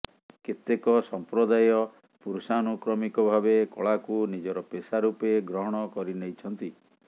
କେତେକ ସମ୍ପ୍ରଦାୟ ପୁରୁଷାନୁକ୍ରମିକ ଭାବେ କଳାକୁ ନିଜର ପେଷା ରୂପେ ଗ୍ରହଣ କରିନେଇଛନ୍ତି